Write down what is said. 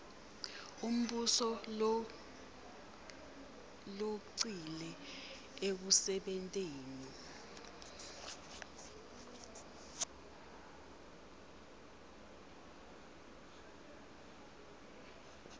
umbuso logcile ekusebenteni